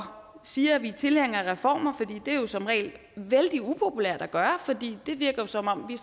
siger at vi er tilhængere af reformer det er jo som regel vældig upopulært at gøre fordi det virker som om vi